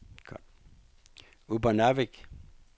Upernavik